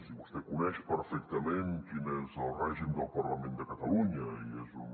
i vostè coneix perfectament quin és el règim del parlament de catalunya i és un